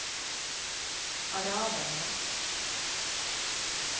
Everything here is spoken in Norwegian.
araberne